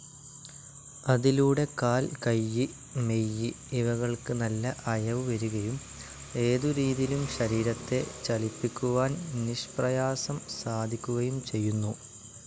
അതിലൂടെ കാൽ, കയ്യ്, മെയ്യ് ഇവകൾക്ക് നല്ല അയവു വരുകയും ഏതുരീതിയിലും ശരീരത്തെ ചലിപ്പിക്കുവാൻ നിഷ്പ്രയാസം സാധിക്കുകയും ചെയ്യുന്നു.